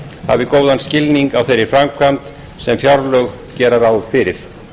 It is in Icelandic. hafi góðan skilning á þeirri framkvæmd sem fjárlög gera ráð fyrir